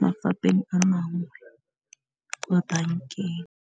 mafapeng a mangwe kwa bankeng.